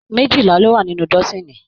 Méjìlá lọ wá nínú dọ́sini.